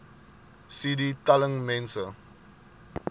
cd telling mense